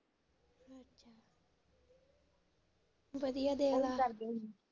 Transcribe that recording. ਵਧੀਆ।